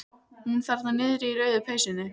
Hún þarna niðri í rauðu peysunni.